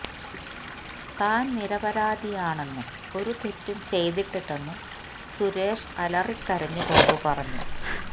താൻ നിരപരാധിയാണെന്നും ഒരു തെറ്റും ചെയ്തിട്ടില്ലെന്നും സുരേഷ് അലറിക്കരഞ്ഞ് കൊണ്ട് പറഞ്ഞു